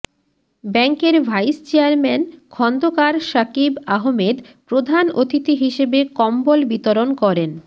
ব্যাংকের vice chairman Khandakar Shakib Ahmed প্রধান অতিথি হিসেবে কম্বল বিতরণ করেন